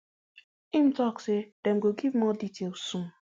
im tok say dem go give more details soon